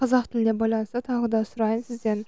қазақ тіліне байланысты тағы да сұрайын сізден